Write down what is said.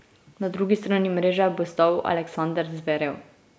Na drugi strani mreže bo stal Aleksander Zverev.